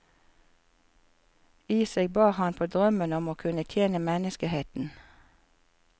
I seg bar han på drømmen om å kunne tjene menneskeheten.